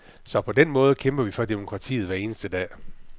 Så på den måde kæmper vi for demokratiet hver eneste dag.